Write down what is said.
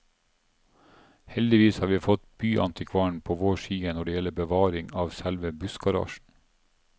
Heldigvis har vi fått byantikvaren på vår side når det gjelder bevaring av selve bussgarasjen.